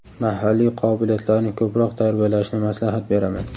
mahalliy qobiliyatlarni ko‘proq tarbiyalashni maslahat beraman.